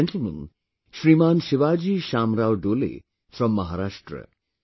This is a gentleman, Shriman Shivaji Shamrao Dole from Maharashtra